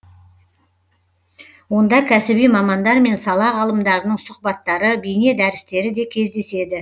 онда кәсіби мамандар мен сала ғалымдарының сұхбаттары бейне дәрістері де кездеседі